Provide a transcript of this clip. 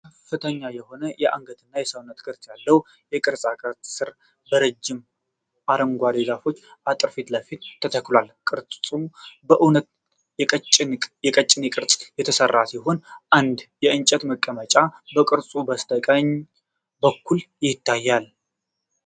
ከፍተኛ የሆነ የአንገትና የሰውነት ቅርጽ ያለው የቅርጻ ቅርጽ ሥራ በረጃጅም አረንጓዴ ዛፎች አጥር ፊት ለፊት ተተክሏል። ቅርጹ በእውነተኛ የቀጭኔ ቅርጽ የተሰራ ሲሆን፣ አንድ የእንጨት መቀመጫ ከቅርጹ በስተቀኝ በኩል ይታያል።